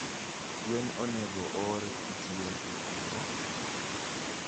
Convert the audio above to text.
gwen onego oor kitiyo gi ango?